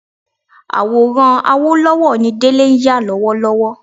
Àwòrán Awólọ́wọ̀ ni Délé ń yà lọ́wọ́lọ́wọ́